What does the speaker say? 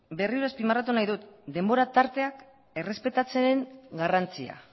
berriro azpimarratu nahi dut denbora tarteak errespetatzearen garrantzia